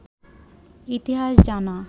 ইতিহাস জানা